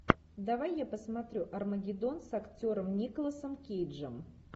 давай я посмотрю армагеддон с актером николасом кейджем